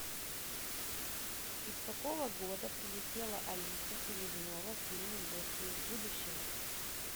из какого года прилетела алиса селезнева в фильме гостья из будущего